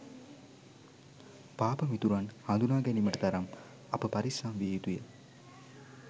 පාප මිතුරන් හඳුනා ගැනීමට තරම් අප පරිස්සම් විය යුතුය.